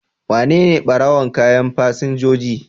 Wanene ɓarawon kayan fasinjoji?